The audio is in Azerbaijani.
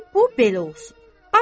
Qoy bu belə olsun.